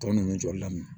Tɔn nunnu jɔli daminɛ